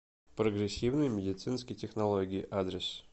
прогрессивные медицинские технологии адрес